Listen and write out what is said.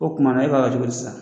O kumana e b'a kɛ cogodi sa?